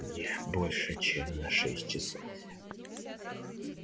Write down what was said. не больше чем на шесть часов